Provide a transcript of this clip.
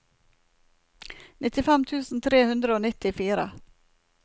nittifem tusen tre hundre og nittifire